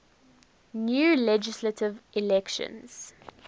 new legislative elections